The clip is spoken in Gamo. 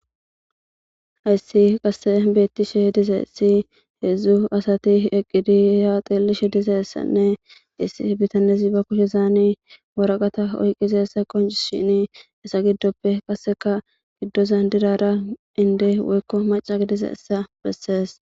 Hayssi qasse beettishe dizayssi heedzdzu asati eqqidi he ha xeellishe dizayssanne hessi bitanezi ba kushezan waraqata oyqqidayssa qonccisishini hessa giddoppe qasseka giddozan dizara indde woykko macca gidizayssa bessees.